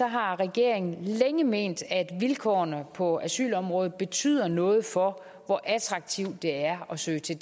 har regeringen længe ment at vilkårene på asylområdet betyder noget for hvor attraktivt det er at søge til